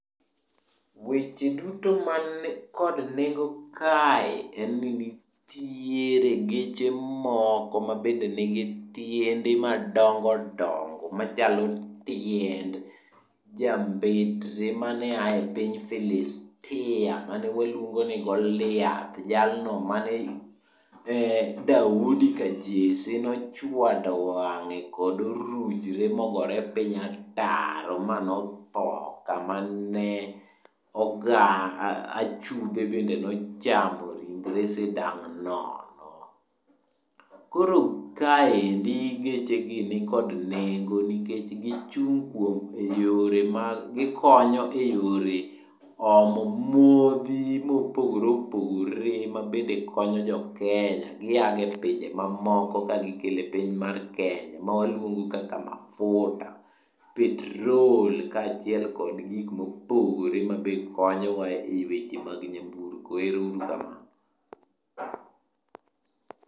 Weche duto man kod nengo kae en ni nitiere geche moko mabende nigi tiende madongo dongo machalo tiend jambetre mane a e piny Filistia mane waluongo ni Goliath jalno mane Daudi ka Jesse nochwado wange kod orujre mogore piny ataro manotho kamane oga, achudhe bend en ochamo ringre sidang nono. Koro kaendi geche gi nikod nengo nikech gichung kuom, eyore mag ,gikonyo e yore omo modhi mopogore opogore mabende konyo jo Kenya giya go e pinje mamoko ka gikelo e piny mar Kenya magiluongo kaka mafuta, petrol kachiel kod gikma opogore mabe konyowa e weche mag nyamburko, erourukamano